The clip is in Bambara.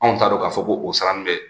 Anw t'a dɔn k'a fɔ ko o sara in bɛ